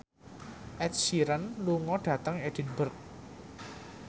Ed Sheeran lunga dhateng Edinburgh